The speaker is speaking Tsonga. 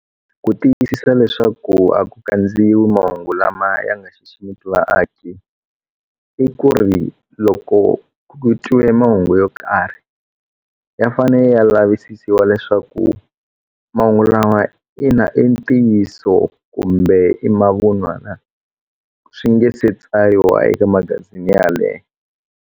Ku tiyisisa leswaku a ku kandziyiwi mahungu lama ya nga xiximiki vaaki i ku ri loko ku twiwe mahungu yo karhi ya fane ya lavisisiwa leswaku mahungu lawa ina i ntiyiso kumbe i mavunwa na swi nge se tsariwa eka magazini yaleyo.